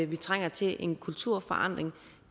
vi trænger til en kulturændring